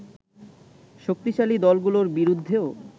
শক্তিশালী দলগুলোর বিরুদ্ধেও